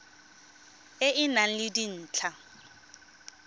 e e nang le dintlha